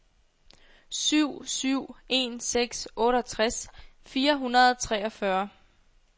syv syv en seks otteogtres fire hundrede og treogfyrre